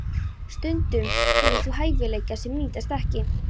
Stundum hefur það hæfileika sem nýtast ekki.